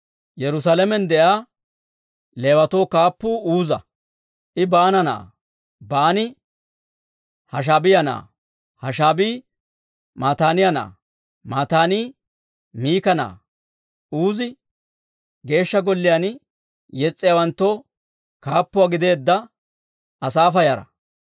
Yerusaalamen de'iyaa Leewatoo kaappuu Uuza. I Baana na'aa; Baani Hashaabiyaa na'aa; Hashaabii Mataaniyaa na'aa; Mataanii Miika na'aa. Uuzi Geeshsha Golliyaan yes's'iyaawanttoo kaappuwaa gideedda Asaafa yara.